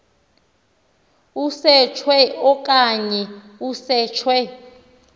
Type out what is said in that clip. usetshwe okanye kusetshwe